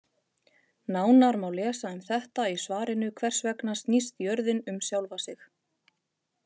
Nánar má lesa um þetta í svarinu Hvers vegna snýst jörðin um sjálfa sig?